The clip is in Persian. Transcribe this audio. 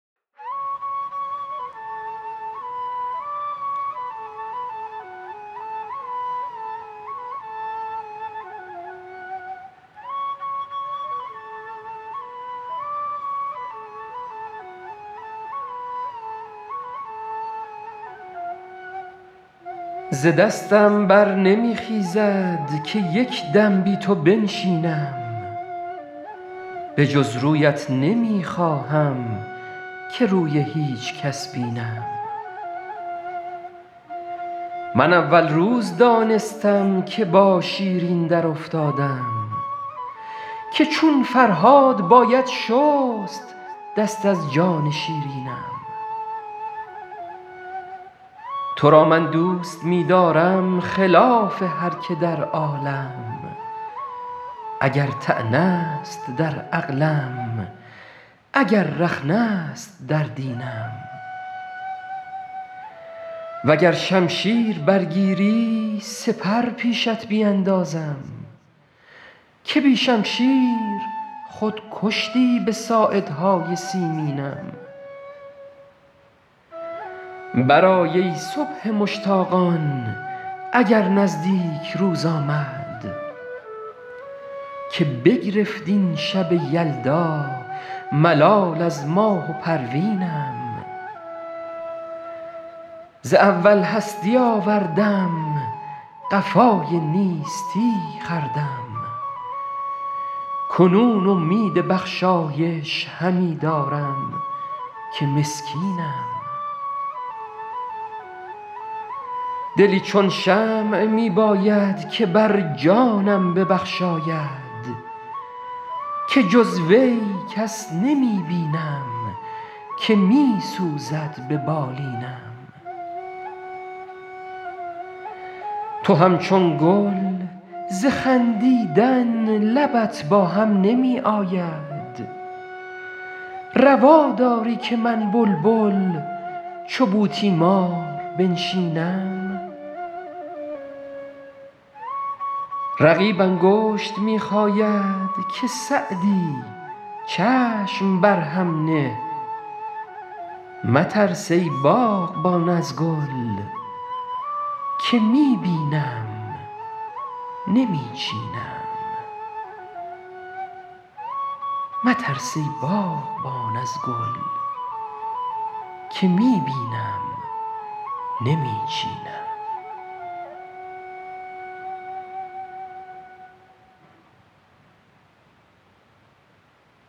ز دستم بر نمی خیزد که یک دم بی تو بنشینم به جز رویت نمی خواهم که روی هیچ کس بینم من اول روز دانستم که با شیرین درافتادم که چون فرهاد باید شست دست از جان شیرینم تو را من دوست می دارم خلاف هر که در عالم اگر طعنه است در عقلم اگر رخنه است در دینم و گر شمشیر برگیری سپر پیشت بیندازم که بی شمشیر خود کشتی به ساعدهای سیمینم برآی ای صبح مشتاقان اگر نزدیک روز آمد که بگرفت این شب یلدا ملال از ماه و پروینم ز اول هستی آوردم قفای نیستی خوردم کنون امید بخشایش همی دارم که مسکینم دلی چون شمع می باید که بر جانم ببخشاید که جز وی کس نمی بینم که می سوزد به بالینم تو همچون گل ز خندیدن لبت با هم نمی آید روا داری که من بلبل چو بوتیمار بنشینم رقیب انگشت می خاید که سعدی چشم بر هم نه مترس ای باغبان از گل که می بینم نمی چینم